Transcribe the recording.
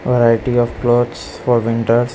Varieties of clothes for winter.